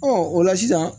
o la sisan